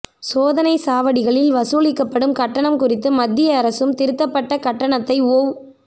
சோதனை சாவடிகளில் வசூலிக்கப்படும் கட்டணம் குறித்து மத்திய அரசும் திருத்தப்பட்ட கட்டணத்தை ஒவ்